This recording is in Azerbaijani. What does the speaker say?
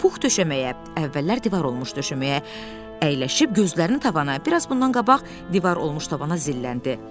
Pux döşəməyə, əvvəllər divar olmuş döşəməyə əyləşib gözlərini tavana, biraz bundan qabaq divar olmuş tavana zilləndi.